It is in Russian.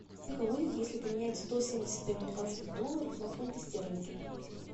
сколько будет если поменять сто семьдесят американских долларов на фунты стерлинги